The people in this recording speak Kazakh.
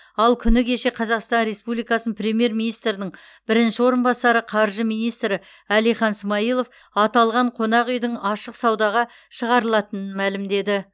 ал күні кеше қазақстан республикасының премьер министрдің бірінші орынбасары қаржы министрі әлихан смайылов аталған қонақ үйдің ашық саудаға шығарылатынын мәлімдеді